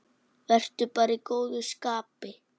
Vertu bara í góðu skapi.